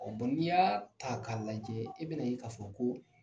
n'i y'a ta ka lajɛ i bɛna ye k'a fɔ ko